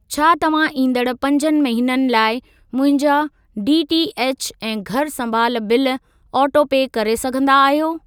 छा तव्हां ईंदड़ पंज महिननि लाइ मुंहिंजा डीटीएच ऐं घरु सँभालु बिल ऑटोपे करे सघंदा आहियो?